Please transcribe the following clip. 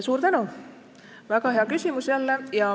Suur tänu, väga hea küsimus jälle!